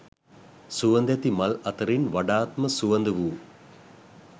සුවඳැති මල් අතරින් වඩාත්ම සුවඳ වූ